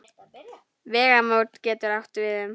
Vegamót getur átt við um